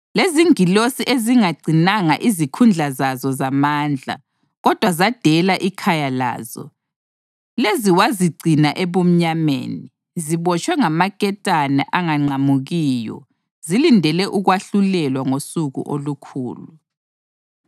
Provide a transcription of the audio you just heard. Lezingilosi ezingagcinanga izikhundla zazo zamandla, kodwa zadela ikhaya lazo, lezi wazigcina ebumnyameni, zibotshwe ngamaketane angaqamukiyo zilindele ukwahlulelwa ngoSuku olukhulu.